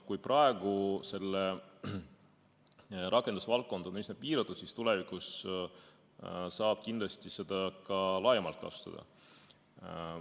Kui praegu selle rakendusvaldkond on üsna piiratud, siis tulevikus saab seda kindlasti ka laiemalt kasutada.